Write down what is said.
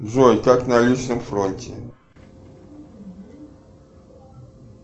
джой как на личном фронте